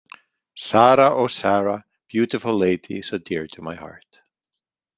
Sara, oh Sara, Beautiful lady, so dear to my heart.